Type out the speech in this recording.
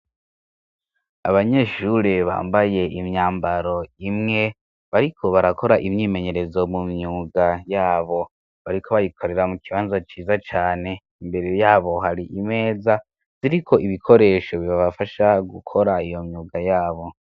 Abanyeshure bambaye imyambaro imwe bariko barakora imyimenyerezo mu myuga yabo bariko bayikorera mu kibanzo ciza cane imbere yabo hari imeza ziriko ibikoresho bibabafasha gukora iyo myuga yabo.